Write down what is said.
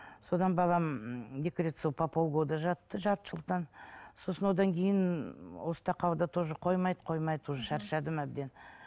содан балам екі рет сол по пол года жатты жарты жылдан сосын одан кейін осы тақауда тоже қоймайды қоймайды уже шаршадым әбден